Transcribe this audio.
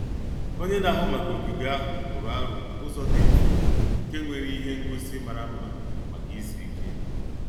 Onye na-ahụ maka ogige ahụ tụrụ aro ụzọ dị mfe nke nwere ihe ngosi mara mma maka izu ike.